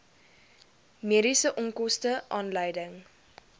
mediese onkoste aanleiding